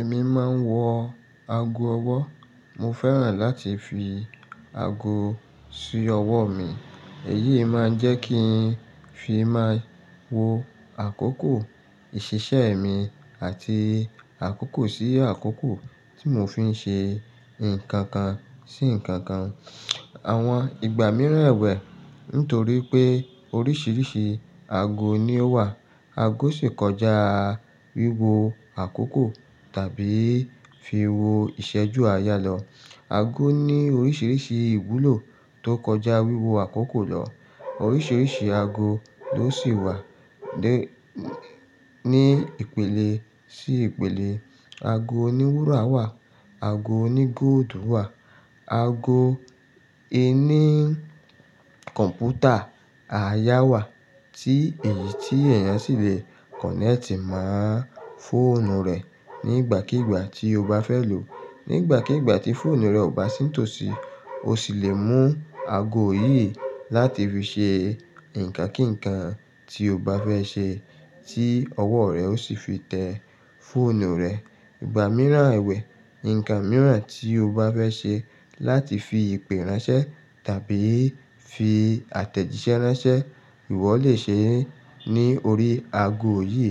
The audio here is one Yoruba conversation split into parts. Èmi máa ń wọ ago ọwọ́. Mo fẹ́ràn láti fi ago sí ọwọ́ mi. Èyí máa ń jẹ́ kí n fi máa wo àkókò ìṣiṣẹ́ mi àti àkókò sí àkókò tí mò fí n ṣe nǹkan kan sí nǹkan kan. Àwọn ìgbà mìíràn ẹ̀wẹ̀, nítorí pé oríṣiríṣi ago ni ó wà, ago sì kọjá wíwo àkókò tàbí fi wo ìṣẹ́jú aayá lò. Ago ní oríṣiríṣi ìwúlò tó kọjá wíwo àkókò lọ. Oríṣiríṣi ago ló sì wà ní ìpele sí ìpele. Ago oní wúrà wà, ago oní góòlù wà, ago ẹní kọ̀ǹpútà àayà wà tí èyí tí èèyàn sì lè kọ̀nẹ́ẹ̀tì máa fóònù rẹ̀ nígbàkígbà tí ó bá fẹ́ lò. Nígbàkígbà tí fóònù rẹ̀ ò bá sí tòsí, ó sì lè mú ago yìí láti fi ṣe nǹkan kí nǹkan tí ó bá fẹ́ ṣe tí ọwọ́ rẹ̀ ó sì fi tẹ fóònù rẹ̀. Ìgbà mìíràn ẹ̀wẹ̀, nǹkan mìíràn tí ó bá fẹ́ ṣe láti fi ìpè ránṣẹ́ tàbí fi àtẹ̀jíṣẹ́ ránṣẹ́, ìwọ lè ṣe é ní orí ago yìí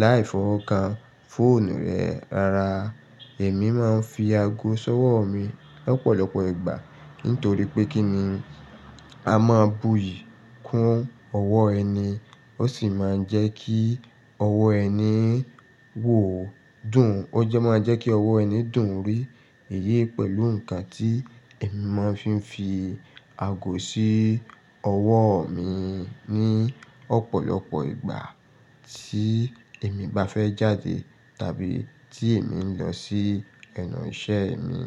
láì fọ́wo kan fóònù rẹ rara. Èmi máa ń fi ago sọ́wọ́ mi lọ́pọ̀lọpọ̀ ìgbà nitorí pé kí ni, a máa buyì kún ọwọ́ ẹni, ó sì máa ń jẹ́ kí ọwọ́ ẹni wò ó dùn. Ó jẹ́ máa jẹ́ kí ọwọ́ ẹni dùn rì. Èyí pẹ̀lú nǹkan tí èmi máa fi ń fi ago sí ọwọ́ mi ní ọ̀pọ̀lọpọ̀ ìgbà tí èmi bá fẹ́ jáde tàbí tí èmi ń lọ sí ẹnu iṣẹ́ mi.